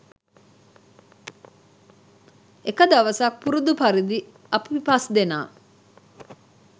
එක දවසක් පුරුදු පරිදි අපි පස්දෙනා